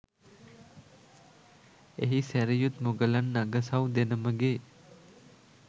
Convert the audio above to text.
එහි සැරියුත් මුගලන් අගසව් දෙනමගේ